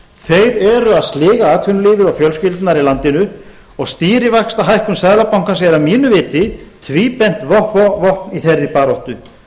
þeir eru að sliga atvinnulífið og fjölskyldurnar í landinu og stýrivaxtahækkun seðlabankans er að mínu viti tvíbent vopn í þeirri baráttu